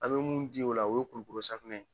A be mun di o la, o ye kulukoro safunɛ ye.